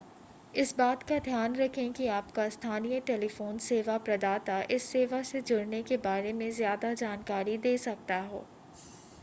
इस बात का ध्यान रखें कि आपका स्थानीय टेलीफोन सेवा प्रदाता इस सेवा से जुड़ने के बारे में ज़्यादा जानकारी दे सकता हो